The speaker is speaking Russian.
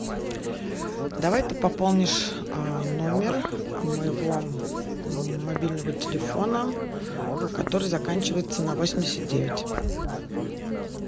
давай ты пополнишь номер моего мобильного телефона который заканчивается на восемьдесят девять